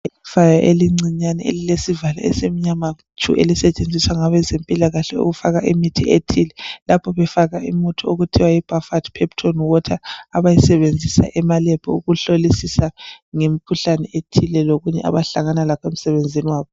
Ekhaya elincinyane elilesivalo esimnyama tshu. Elisetshenziswa ngabezempilakahle ukufaka imithi ethile. Lapho befaka imithi okuthiwa Buffered Pepton Water. Abayisebenzisa emalab, ukuhlolisisa ngemikhuhlane ethile. Lokunye abahlangana lakho emsebenzini wabo.